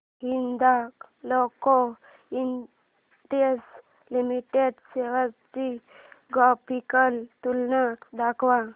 Hindalco industries limited shares ची graphical तुलना दाखव